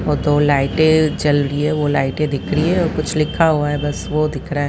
और दो लाइटें जल रही हैं वो लाइटें दिख रही हैं और कुछ लिखा हुआ है बस वो दिख रहा है।